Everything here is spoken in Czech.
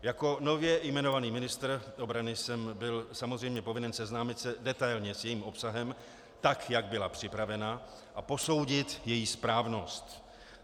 Jako nově jmenovaný ministr obrany jsem byl samozřejmě povinen seznámit se detailně s jejím obsahem, tak jak byla připravena, a posoudit její správnost.